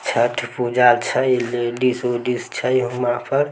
छठ पूजा छै लेडिज उडीज छै उहा पर--